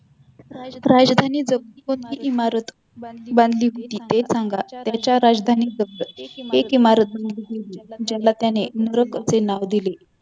राजधानी जवळ कोणती इमारत बांधली होती ते सांगा त्याच्या राजधानी जवळ एक इमारत बांधली गेली ज्याला त्याने नरक असे नाव दिले